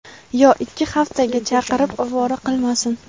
yo ikki haftaga chaqirib ovora qilmasin!.